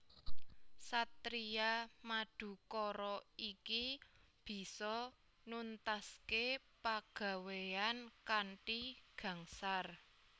Satriya Madukara iki bisa nuntaské pagawéyan kanthi gangsar